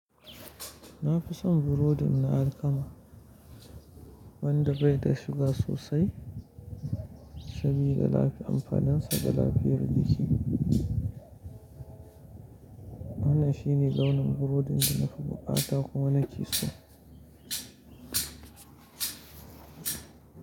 Na fi son burodin na alkama wanda bai da suga sosai saboda lafi anfaninsa. Ga lafiyar jiki. Wannan shi ne launin burodin da na fi bukata kuma na kisa.